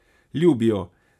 Ljubi jo.